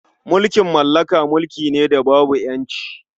Mulkin mallaka mulki ne da babu ƴanci.